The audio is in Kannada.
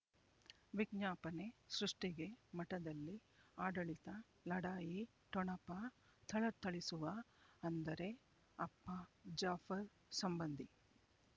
ವಿಜ್ಞಾಪನೆ ಸೃಷ್ಟಿಗೆ ಮಠದಲ್ಲಿ ಆಡಳಿತ ಲಢಾಯಿ ಠೊಣಪ ಥಳಥಳಿಸುವ ಅಂದರೆ ಅಪ್ಪ ಜಾಫರ್ ಸಂಬಂಧಿ